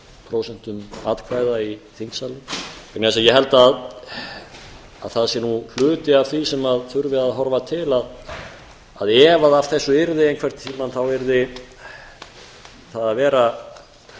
prósent atkvæða í þingsalnum vegna þess að ég held að það sé hluti af því sem þurfi að horfa til að ef af þessu yrði einhvern tíma þá yrði það að vera